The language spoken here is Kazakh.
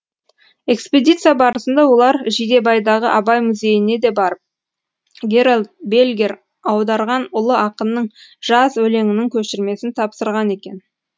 экспедиция барысында олар жидебайдағы абай музейіне де барып герольд бельгер аударған ұлы ақынның жаз өлеңінің көшірмесін тапсырған екен